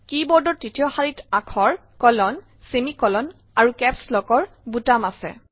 কী বোৰ্ডৰ তৃতীয় শাৰীত আখৰ কলন ছেমি কলন আৰু কেপছ লক ডাঙৰ ফলাৰ বুটাম আছে